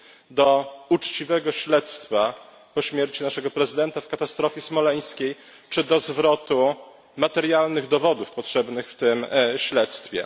do uczciwego śledztwa po śmierci naszego prezydenta w katastrofie smoleńskiej, czy do zwrotu materialnych dowodów potrzebnych w tym śledztwie.